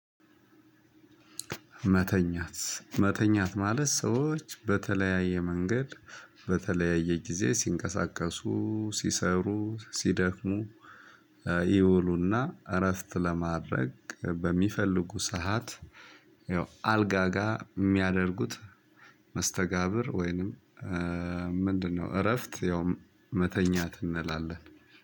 መተኛት መተኛት ማለት ሰዎች በተለያዬ መንገድ በተለያዬ ጊዜ ሲንቀሳቀሱ ሲሰሩ ሲደክሙ። ይውሉና እረፍት ለማድረግ በሚፈልጉ ሰሀት ይኸው አልጋ ጋር የሚያደርጉት። መስተጋብር ወይንም ምንድነው? እረፍት ያው መተኛት እንላለን